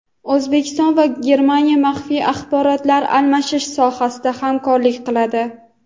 O‘zbekiston va Germaniya maxfiy axborotlar almashish sohasida hamkorlik qiladi.